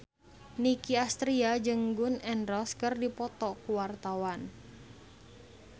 Nicky Astria jeung Gun N Roses keur dipoto ku wartawan